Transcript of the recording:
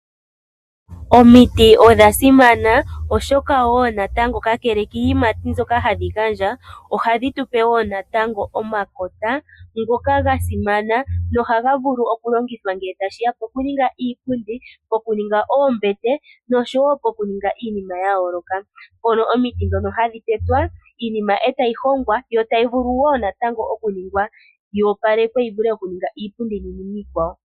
Omiti odha simana, oshoka wo natango kakele kiiyimati mbyoka hadhi gandja, ohadhi tupe wo natango omakota ngoka ga simana nohaga vulu okulongithwa ngee tashiya pokuninga iipundi, pokuninga oombete nosho wo pokuninga iinima ya yooloka. Mpono omiti dhono hadhi tetwa. Iinima etayi hongwa, yo tayi vulu wo natango okuningwa yoopalekwe yi vule okuninga iipundi niinima iikwawo.